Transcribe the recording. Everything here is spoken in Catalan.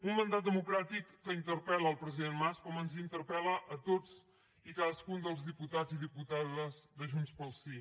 un mandat democràtic que interpel·la el president mas com ens interpel·la a tots i a cadascun dels diputats i diputades de junts pel sí